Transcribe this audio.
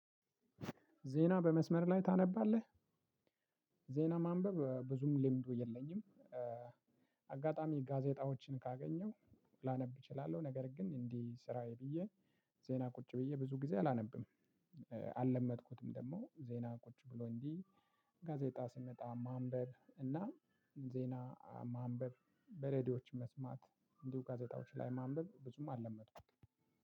ዜና በመስመር ላይ ታነባለህ? ዜና ማንበብ ብዙም ልምዱየለኝም። ጋዜጣዎችን ካገኘው ላነብ እችላለሁ። ነገር ግን እንዲህ ስራዬ ብዬ ዜና ቁጭ ብዬ ብዙ ጊዜ አላነብም። አልለመድኩትም ደግሞ ዜና ቁጭ ብሎ እንዲህ። ጋዜጣ ስመጣ ማንበብ እና ዜና ማንበብ በሬዲዮች መስማት እንዲሁ ጋዜጣዎች ላይ ማንበብ ብዙም አልለመድኩም።